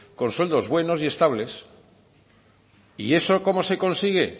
con sueldos buenos y estables y eso cómo se consigue